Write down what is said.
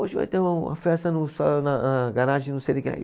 Hoje vai ter um, uma festa no na, na garagem, não sei de quem aí.